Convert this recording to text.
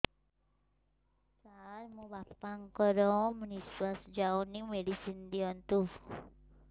ସାର ମୋର ବାପା ଙ୍କର ନିଃଶ୍ବାସ ଯାଉନି ମେଡିସିନ ଦିଅନ୍ତୁ